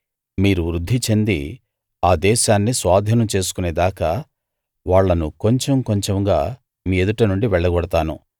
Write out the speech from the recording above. మీరు వృద్ధి చెంది ఆ దేశాన్ని స్వాధీనం చేసుకునే దాకా వాళ్ళను కొంచెం కొంచెంగా మీ ఎదుట నుండి వెళ్ళగొడతాను